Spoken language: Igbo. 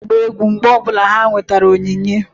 Ụmụaka na-agba egwu mgbe ọ bụla ha nwetara onyinye